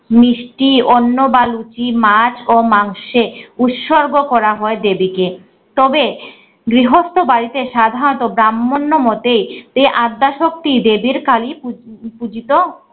মিষ্টি অন্য বালতি মাছ ও মাংশে উৎসর্গ করা হয় দেবীকে। তবে গৃহস্থ বাড়িতে সাধারণত ব্রাহ্মণ মতে এই আদ্যা শক্তি দেবীর কালী পু~ পুজিত